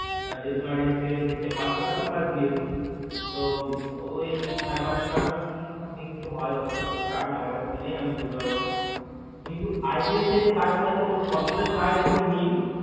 যেটা তোমার হচ্ছে SBI পাঁচশো টাকা আর Plus GST তো ওই সাড়ে পাঁচশো টাকা কি something কিছু হয় হয়ত সার আমার কাছে তো নেই আমি বলতে পারবো না কিন্তু ICC যে Card গুলো আছে ওর বছরে charge একদম nill